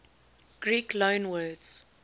greek loanwords